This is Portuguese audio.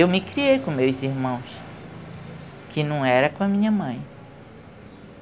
Eu me criei com meus irmãos, que não era com a minha mãe.